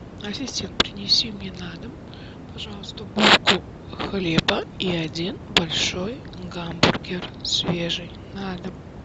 ассистент принеси мне на дом пожалуйста булку хлеба и один большой гамбургер свежий на дом